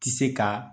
Ti se ka